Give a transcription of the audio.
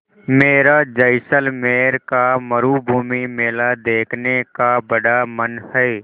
मेरा जैसलमेर का मरूभूमि मेला देखने का बड़ा मन है